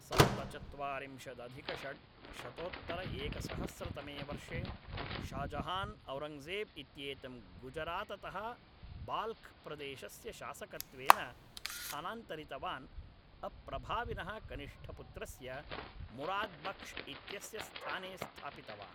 सप्तचत्वारिंशदधिकषड्शतोत्तरएकसहस्रतमे वर्षे शाह् जहान् औरङ्गजेब् इत्येतं गुजराततः बाल्ख् प्रदेशस्य शासकत्वेन स्थानान्तरितवान् अप्रभाविनः कनिष्ठपुत्रस्य मुराद् बक्श् इत्यस्य स्थाने स्थापितवान्